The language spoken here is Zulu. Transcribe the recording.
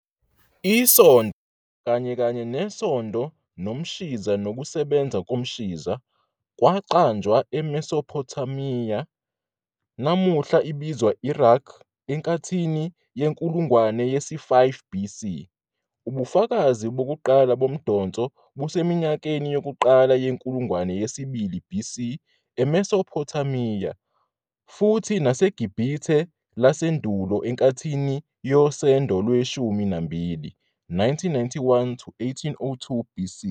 Isondo, kanye kanye nesondo nomshiza nokusebenza komshiza, kwaqanjwa eMesopothamiya, namuhla ibizwa Iraq, enkathini yenkulungwane yesi-5 BC. Ubufakazi bokuqala bomdonso buseminyakeni yokuqala yenkulungwane yesibili BC eMesopothamiya, futhi naseGibhithe lasendulo enkathini yoSendo lweshumi nambili, 1991-1802 BC.